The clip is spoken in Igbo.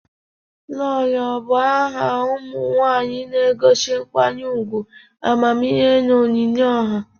Lolo bụ aha ụmụ nwanyị na-egosi nkwanye ugwu, amamihe na onyinye ọha.